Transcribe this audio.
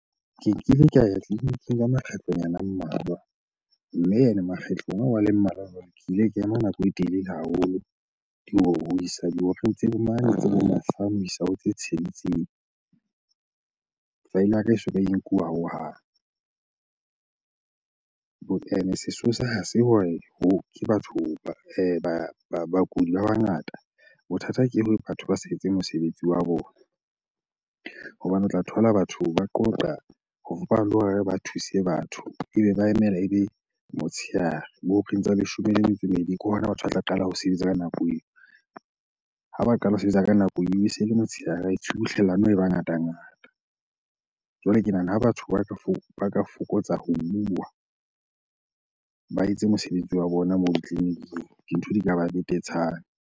Ke nkile ka ya tleliniking ka makgetlo nyana a mmalwa. Mme ene makgetlong ao a le mmalwa jwalo, ke ile ka ema nako e telele haholo. Mane tsebo mahlano ho isa ho tse tsheletseng file ya ka e soka e nkuwa hohang. Ene sesosa ha se hore ke batho bakudi ba bangata. Bothata ke batho ba sa etse mosebetsi wa bona. Hobane o tla thola batho ba qoqa le hore ba thuse batho ebe ba emela ebe motshehare, bo horeng tsa leshome le metso e ke hona batho ba tla qala ho sebetsa ka nako eo. Ha ba qala ho sebetsa ka nako eo ese ele motshehare, tshubuhlellano e ba ngatangata. Jwale ke nahana ha batho ba ka fokotsa ka fokotsa ho bua, ba etse mosebetsi wa bona moo ditleliniking. Dintho di ka ba betetshana.